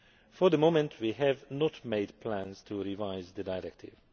For the moment, we have not made plans to revise the Directive.